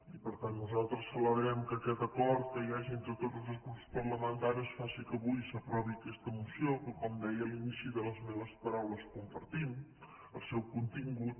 i per tant nosaltres celebrem que aquest acord que hi hagi entre tots els grups parlamentaris faci que avui s’aprovi aquesta moció que com deia a l’inici de les meves paraules compartim el seu contingut